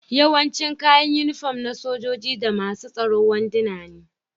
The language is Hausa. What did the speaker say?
Yawancin kayan unifom na sojoji da masun tsoro wanduna ne.